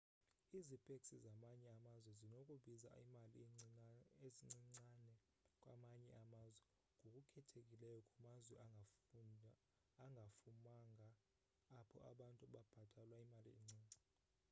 izipeksi zamanye amazwe zinokubiza imali encincane kwamanye amazwe ngokukhethekileyo kumazwe angafumanga apho abantu bebhatalwa imali encinci